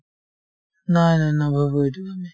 নাই নাই নাভাবো এইটো আমি